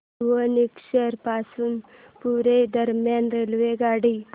भुवनेश्वर पासून पुरी दरम्यान रेल्वेगाडी